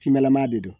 Finma de don